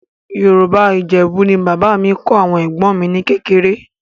Yorùbá Ìjẹ̀bú ni bàbá mi kọ́ àwọn ẹ̀gbọ́n mi ní kékeré